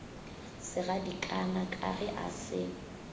segadikana ka ge a se